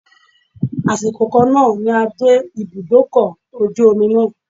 Àsìkò kan náà ni a dé ibùdókọ̀ ojú omi náà.